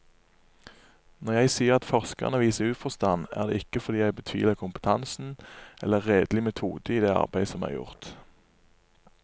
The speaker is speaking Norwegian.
Når jeg sier at forskerne viser uforstand, er det ikke fordi jeg betviler kompetansen eller redelig metode i det arbeid som er gjort.